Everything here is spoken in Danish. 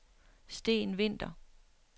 Steen Winther